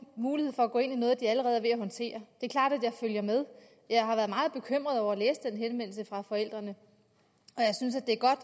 mulighed for at gå ind i noget de allerede er ved at håndtere det er klart at jeg følger med jeg har været meget bekymret over at læse den henvendelse fra forældrene